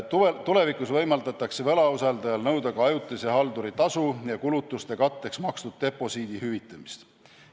Tulevikus võimaldatakse võlausaldajal nõuda ka ajutise halduri tasu ja kulutuste katteks makstud deposiidi hüvitamist.